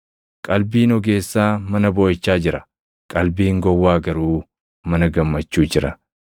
Qalbiin ogeessaa mana booʼichaa jira, qalbiin gowwaa garuu mana gammachuu jira.